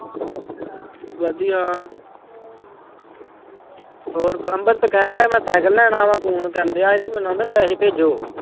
ਵਧੀਆ ਹੋਰ ਅੰਮ੍ਰਿਤ ਕਹਿਣ ਡਿਆ ਮੈਂ ਸਾਇਕਲ ਲੈਣਾ ਵਾਂ phone ਕਰਨਡਿਆ ਸੀ ਤੇ ਮੈਨੂੰ ਕਹਿੰਦਾ ਪੈਸੇ ਭੇਜੋ।